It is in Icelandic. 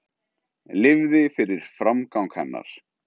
Lifði fyrir framgang hennar.